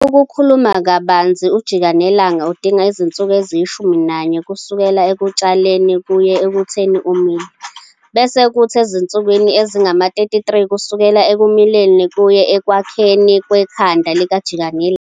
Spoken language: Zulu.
Ukukhuluma kabanzi ujikanelanga udinga izinsuku eziyishumi nanye kusukela ekutshaleni kuye ekutheni umile, bese kuthi ezinsukwini ezingama-33 kusukela ekumileni kuye ekwakhekeni 'kwekhanda likajikanelanga'.